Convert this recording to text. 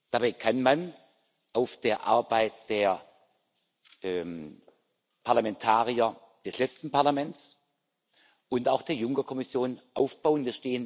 Dabei kann man auf der Arbeit der Parlamentarier des letzten Parlaments und auch der Juncker Kommission aufbauen.